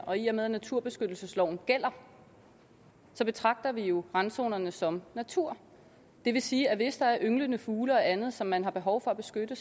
og i og med at naturbeskyttelsesloven gælder betragter vi jo randzonerne som natur det vil sige at hvis der er ynglende fugle og andet som man har behov for at beskytte